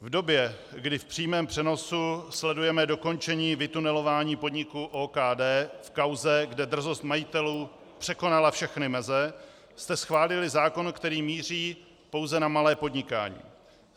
V době, kdy v přímém přenosu sledujeme dokončení vytunelování podniku OKD v kauze, kde drzost majitelů překonala všechny meze, jste schválili zákon, který míří pouze na malé podnikání.